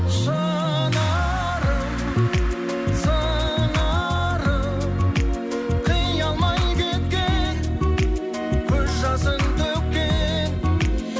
шынарым сыңарым қия алмай кеткен көз жасын төккен